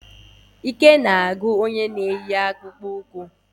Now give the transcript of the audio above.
Akpụkpọ ụkwụ na-ebu ndị ọsụ ụzọ gafee ókèala ahụ, akpụkpọ ụkwụ na-eme ka ndị njem ike gwụrụ jụọ.